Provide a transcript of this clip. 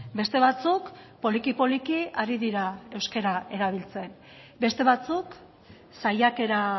beste batzuk poliki poliki ari dira euskara erabiltzen beste batzuk saiakera